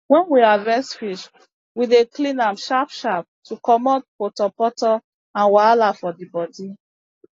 wen we harvest fish we dey clean am sharp sharp to comot potopoto and wahala for di bodi